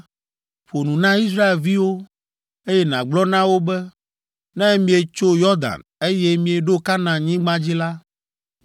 “Ƒo nu na Israelviwo, eye nàgblɔ na wo be, ‘Ne mietso Yɔdan, eye mieɖo Kanaanyigba dzi la,